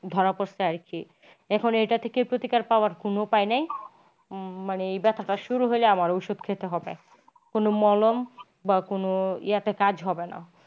ধরা পড়ছে আর কি এখন এটা থেকেও তো প্রতিকার পাওয়ার কোনো উপায় নেই মানে ব্যাথাটা শুরু হইলে আমার ওষুধ খেতে হবে। কোনো মলম বা কোনো বা কোনো ইয়াতে কাজ হবেনা